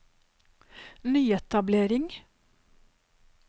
nyetablering